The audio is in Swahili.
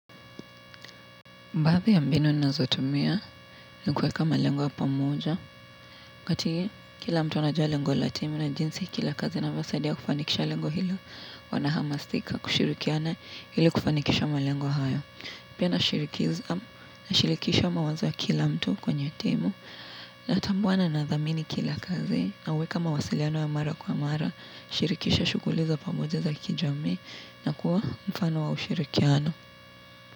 Baadhi ya mbinu ninazotumia, ni kuweka malengo ya pamoja. Wakati, kila mtu anajua lengo la timu na jinsi, kila kazi inavyosadia kufanikisha lengo hilo wanahamasika, kushirikiana ili kufanikisha malengo haya. Pia nashirikisha mawazo ya kila mtu kwenye timu, natambua na nadhamini kila kazi, nauweka mawasiliano ya mara kwa mara, shirikisha shuguli za pamoja za kijami, na kuwa mfano wa ushirikiano.